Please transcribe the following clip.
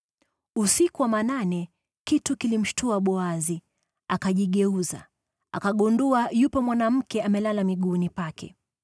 Usiku wa manane, kitu kilimshtua Boazi, akajigeuza, akagundua yupo mwanamke amelala miguuni pake.